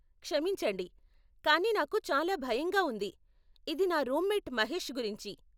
క్షమించండి, కానీ నాకు చాలా భయంగా ఉంది, ఇది నా రూమ్మేట్ మహేష్ గురించి.